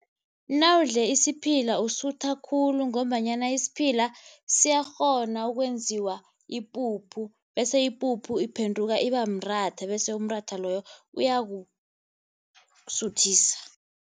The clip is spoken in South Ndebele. Nawudle isiphila usuthe khulu ngombanyana isiphila siyakghona ukwenziwa ipuphu bese ipuphu iphenduka ibamratha bese umratha loyo uyakusuthisa.